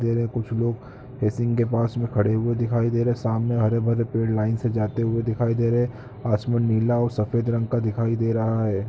कुछ लोग बेसिन के पास खड़े हुए दिखाई दे रहे हैं सामने हरे-भरे पेड़ लाइन से जाते हुए दिखाई दे रहे हैं आसमान नीला और सफेद रंग का दिखाई दे रहा है।